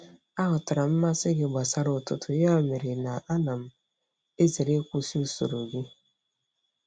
Aghọtara m mmasị gị gbasara ụtụtụ, ya mere na ana m ezere ịkwụsị usoro gị.